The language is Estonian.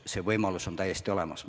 See võimalus on täiesti olemas.